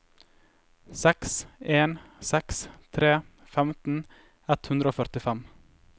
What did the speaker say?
seks en seks tre femten ett hundre og førtifem